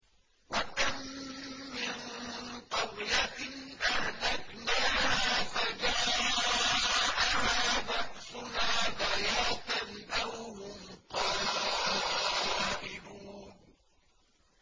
وَكَم مِّن قَرْيَةٍ أَهْلَكْنَاهَا فَجَاءَهَا بَأْسُنَا بَيَاتًا أَوْ هُمْ قَائِلُونَ